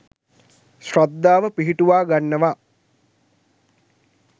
ශ්‍රද්ධාව පිහිටුවා ගන්නවා.